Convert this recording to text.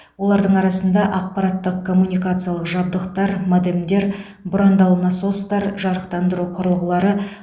олардың арасында ақпараттық коммуникациялық жабдықтар модемдер бұрандалы насостар жарықтандыру құрылғылары